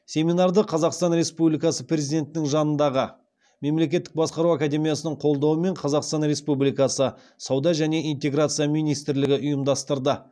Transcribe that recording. семинарды қазақстан республикасы президентінің жанындағы мемлекеттік басқару академиясының қолдауымен қазақстан республикасы сауда және интеграция министрлігі ұйымдастырды